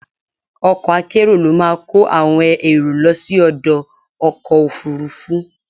Ọkọ̀ akérò ló máa kó àwọn èrò lọ sí ọdọ̀ ọkọ̀ Òfurufú.